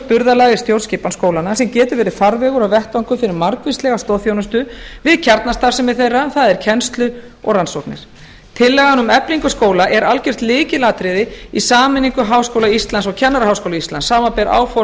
burðarlag í stjórnskipan skólanna sem getur verið farvegur og vettvangur fyrir margvíslega stoðþjónustu við kjarnastarfsemi þeirra það er kennslu og rannsóknir tillagan um eflingu skóla er algjört lykilatriði í sameiningu háskóla íslands og kennaraháskóla íslands samanber áform